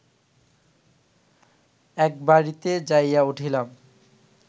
এক বাড়িতে যাইয়া উঠিলাম